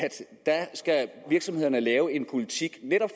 virksomhederne skal lave en politik